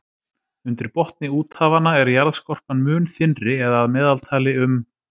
Undir botni úthafanna er jarðskorpan mun þynnri eða að meðaltali um